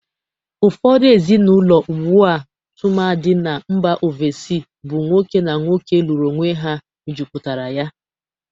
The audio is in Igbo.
Ụfọdụ ezịnaụlọ ugbu a, tụmadị na mba ovesi, bụ nwoke na nwoke lụrụ onwe ha mejuputara ya.